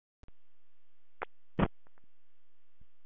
Loftstraumarnir í svelgnum leita inn þar, sem þrýstingurinn er minnstur.